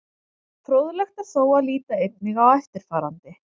Fróðlegt er þó að líta einnig á eftirfarandi.